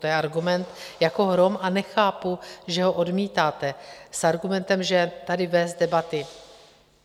To je argument jako hrom a nechápu, že ho odmítáte s argumentem, že tady vést debaty...